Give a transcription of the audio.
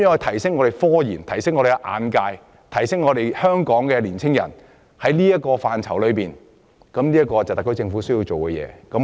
提升科研、擴闊市民的眼界，加強青年人在科研範疇發展，是特區政府需要做的事情。